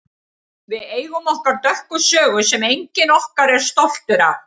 Við eigum okkar dökka sögu sem enginn okkar er stoltur af.